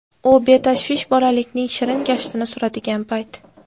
U betashvish bolalikning shirin gashtini suradigan payt.